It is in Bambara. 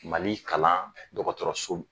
Mali kalan dɔgɔtɔrɔso